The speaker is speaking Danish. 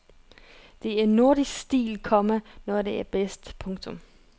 Det er nordisk stil, komma når den er bedst. punktum